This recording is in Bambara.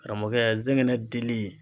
Karamɔgɔkɛ zɛgɛnɛ dili